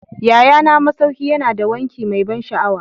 Yayana masauki yana da wanki mai ban sha'awa